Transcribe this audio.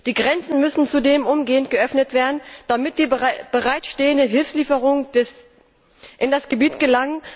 Die Grenzen müssen zudem umgehend geöffnet werden, damit die bereitstehenden Hilfslieferungen in das Gebiet gelangen, um die Zivilbevölkerung zu versorgen.